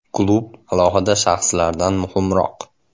Klub alohida shaxslardan muhimroq.